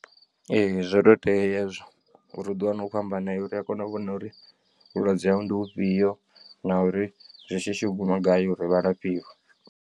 Ee zwo to tea hezwo uri uḓi wane ukho amba naye uri a kone u vhona uri vhulwadze hau ndi ufhio na uri zwi shishi u guma gai uri vha lafhiwe.